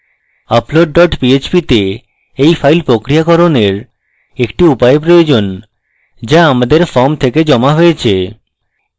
upload dot php তে এই file প্রক্রিয়াকরণের একটি উপায় প্রয়োজন so আমাদের form থেকে জমা হয়েছে